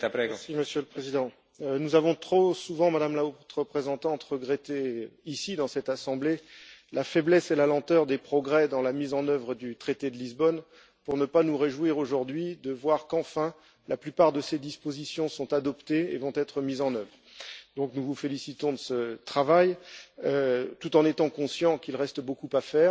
Monsieur le Président, nous avons trop souvent, Madame la Haute représentante, regretté ici dans cette assemblée la faiblesse et la lenteur des progrès dans la mise en œuvre du traité de Lisbonne pour ne pas nous réjouir aujourd'hui de voir qu'enfin, la plupart de ces dispositions sont adoptées et vont être mises en œuvre. Nous vous félicitons donc de ce travail, tout en étant conscients qu'il reste beaucoup à faire.